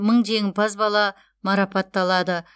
мың жеңімпаз бала марапатталады